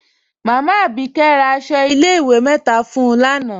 Máámá Abíkẹ̀ rá àṣọ ilẹ̀-ìwé mẹ́ta fún ń lánà.